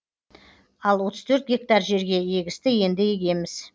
ал отыз төрт гектар жерге егісті енді егеміз